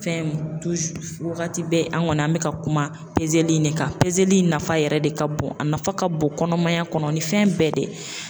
Fɛn waagati bɛ an kɔni an bɛ ka kuma peseli in de kan, peseli in nafa yɛrɛ de ka bon, a nafa ka bon kɔnɔmaya kɔnɔ ni fɛn bɛɛ de ye.